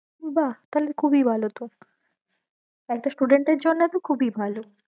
বাঃ তাহলে খুবই ভালো তো, একটা student এর জন্য তো খুবই ভালো।